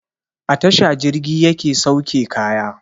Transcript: A tasha jirgi yake sauke kaya